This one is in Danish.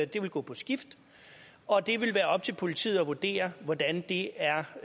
det vil gå på skift og det vil være op til politiet at vurdere hvordan det er